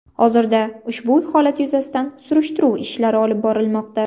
Hozirda ushbu holat yuzasidan surishtiruv ishlari olib borilmoqda.